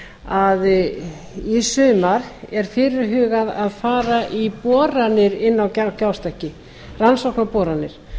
að í sumar er fyrirhugað að fara í boranir inni á gjástykki rannsóknaboranir